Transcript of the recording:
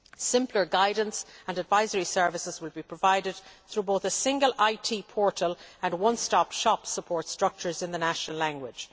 Simpler guidance and advisory services will be provided through both a single IT portal and one stop shop support structures in the national language.